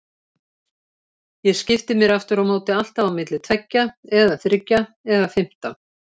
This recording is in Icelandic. Ég skipti mér afturámóti alltaf á milli tveggja eða þriggja eða fimmtán.